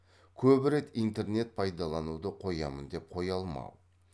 көп рет интернет пайдалануды қоямын деп қоя алмау